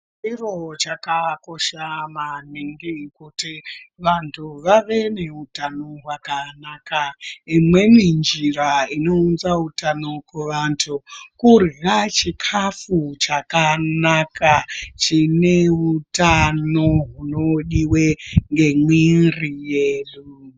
Chiro chakakosha maningi kuti vantu vave neutano hwakanaka. Imweni njira inounza utano kuvantu kurya chikhafu chakanaka ,chine utano hunodiwe ngemwiiri yedu.